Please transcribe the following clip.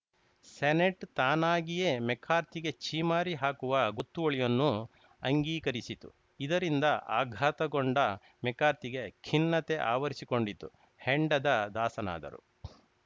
senate ತಾನಾಗಿಯೇ ಮೆಕಾರ್ಥಿಗೆ ಛೀಮಾರಿ ಹಾಕುವ ಗೊತ್ತುವಳಿಯನ್ನು ಅಂಗೀಕರಿಸಿತು ಇದರಿಂದ ಆಘಾತಗೊಂಡ ಮೆಕಾರ್ಥಿಗೆ ಖಿನ್ನತೆ ಆವರಿಸಿಕೊಂಡಿತು ಹೆಂಡದ ದಾಸನಾದರು